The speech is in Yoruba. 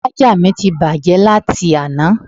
Ṣájà mi ti bàjẹ́ láti àná